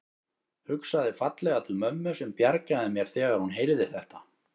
Hugsaði fallega til mömmu sem bjargaði mér þegar hún heyrði þetta.